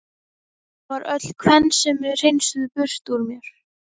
Það var öll kvensemi hreinsuð burt úr mér.